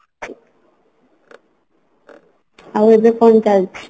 ଆଉ ଏବେ କଣ ଚାଲିଛି?